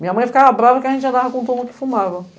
Minha mãe ficava brava que a gente andava com todo mundo que fumava.